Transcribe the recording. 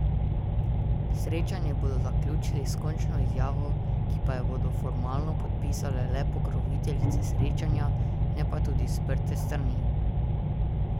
Srečanje bodo zaključili s končno izjavo, ki pa jo bodo formalno podpisale le pokroviteljice srečanja, ne pa tudi sprte strani.